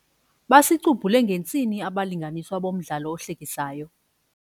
Basicubhule ngentsini abalinganiswa bomdlalo ohlekisayo.